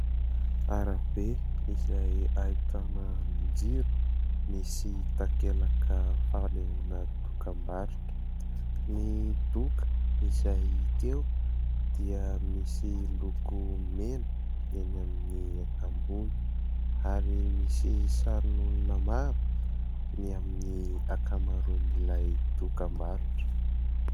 Arabe izay ahitana andrin-jiro, misy takelaka fanehoana dokam-barotra. Ny doka izay hita eo dia misy loko mena eny amin'ny ambony ary misy sarin'olona maro ny amin'ny ankamaroan'ilay dokam-barotra.